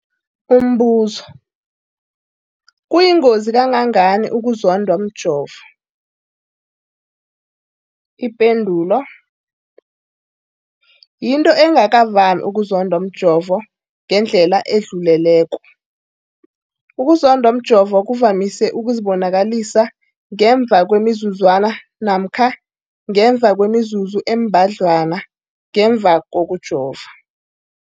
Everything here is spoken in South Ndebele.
Umbuzo, kuyingozi kangangani ukuzondwa mjovo? Ipendulo, yinto engakavami ukuzondwa mjovo ngendlela edluleleko. Ukuzondwa mjovo kuvamise ukuzibonakalisa ngemva kwemizuzwana namkha ngemva kwemizuzu embadlwana ngemva kokujova.